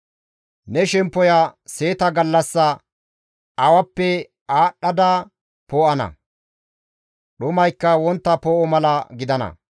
Ne shemppoya seeta gallassa awappe aadhdhada poo7ana; dhumaykka wontta poo7o mala gidana.